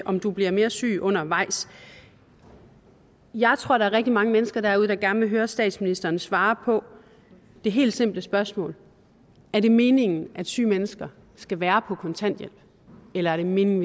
om du bliver mere syg undervejs jeg tror der er rigtig mange mennesker derude der gerne vil høre statsminsteren svare på det helt simple spørgsmål er det meningen at syge mennesker skal være på kontanthjælp eller er det meningen